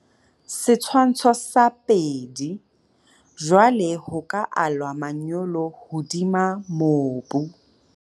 Setshwantsho sa 2. Jwale ho ka alwa manyolo hodima mobu.